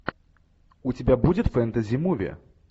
у тебя будет фэнтези муви